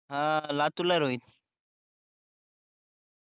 अं लातूर ला आहे रोहित